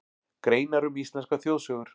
Greinar um íslenskar þjóðsögur.